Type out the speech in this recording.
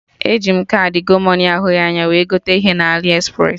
E ji m kaadị Gomoney ahụghị anya wee gote ihe na Aliexpress